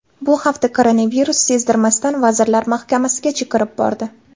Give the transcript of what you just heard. Bu hafta koronavirus sezdirmasdan Vazirlar Mahkamasigacha kirib bordi.